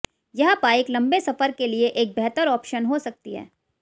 यह बाइक लंबे सफर के लिए एक बेहतर ऑप्शन हो सकती है